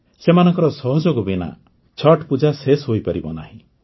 ସେମାନଙ୍କ ସହଯୋଗ ବିନା ଛଠ୍ ପୂଜା ଶେଷ ହୋଇପାରିବ ନାହିଁ